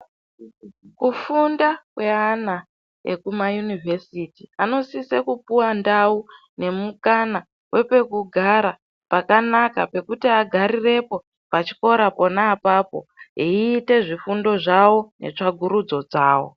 Kufunda kweana ekumayunivhesiti anosisa kupuwe ndau nemukana wepekugara pakanaka pekuti agarirepo pachikora pona apapo eiite zvifundo zvavo netsvakurudzo dzavo.